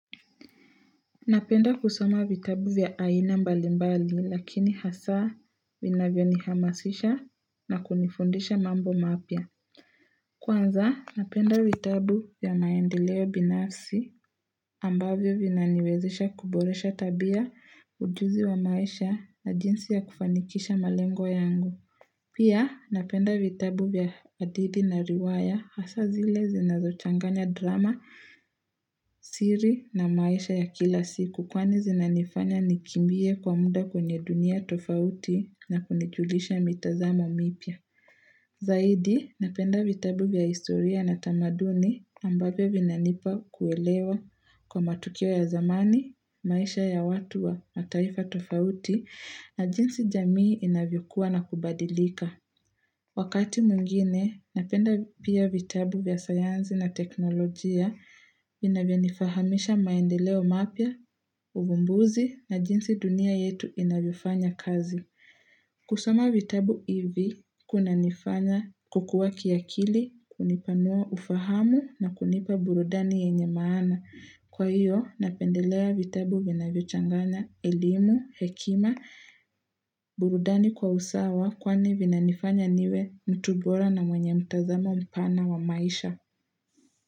Napenda kusoma vitabu vya aina mbalimbali lakini hasa vinavyo nihamasisha na kunifundisha mambo mapya. Kwanza napenda vitabu vya maendeleo binafsi ambavyo vinaniwezesha kuboresha tabia ujuzi wa maisha na jinsi ya kufanikisha malengo yangu. Pia napenda vitabu vya hadithi na riwaya hasa zile zinazo changanya drama, siri na maisha ya kila siku kwa ni zinanifanya nikimbie kwa muda kwenye dunia tofauti na kunijulisha mitazamo mipya. Zaidi, napenda vitabu vya historia na tamaduni ambavyo vinanipa kuelewa kwa matukio ya zamani, maisha ya watu wa mataifa tofauti na jinsi jamii inavyokua na kubadilika Wakati mwingine napenda pia vitabu vya sayansi na teknolojia inavyonifahamisha maendeleo mapya, uvumbuzi na jinsi dunia yetu inavyofanya kazi kusoma vitabu ivi kunanifanya kukua kiakili kunipanua ufahamu na kunipa burudani yenye maana Kwa hio napendelea vitabu vinavyochanganya elimu hekima burudani kwa usawa kwani vinanifanya niwe mtu bora na mwenye mtazamo mpana wa maisha.